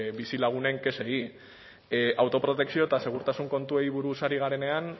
bizilagunen kexei auto protekzio eta segurtasun kontuei buruz ari garenean